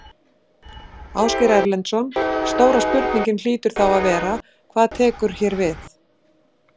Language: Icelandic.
Ásgeir Erlendsson: Stóra spurningin hlýtur þá að vera: Hvað tekur hér við?